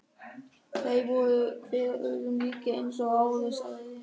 Þeir voru hver öðrum líkir eins og áður sagði.